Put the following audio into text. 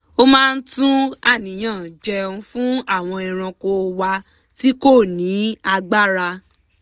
ó máa ń tú àníyàn jéun fún àwọn ẹranko wa tí kò ní agbára